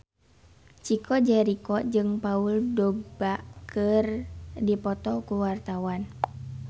Chico Jericho jeung Paul Dogba keur dipoto ku wartawan